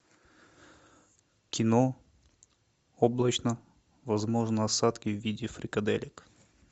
кино облачно возможны осадки в виде фрикаделек